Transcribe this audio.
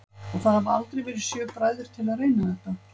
Og það hafa aldrei verið sjö bræður til að reyna þetta?